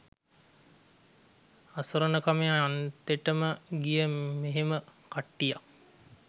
අසරණකමේ අන්තෙටම ගිය මෙහෙම කට්ටියක්